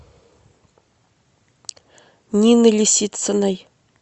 нины лисициной